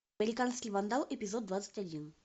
американский вандал эпизод двадцать один